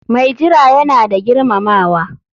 Mai jira yana da girmamawa.